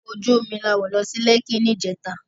Òkò ójú ómi lá wó lò si Lèki nijètá